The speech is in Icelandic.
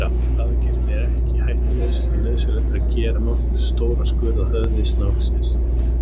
Aðgerðin er ekki hættulaus því nauðsynlegt er að gera nokkuð stóran skurð á höfði snáksins.